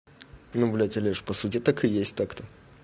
ну блять олеж по сути так и есть так-то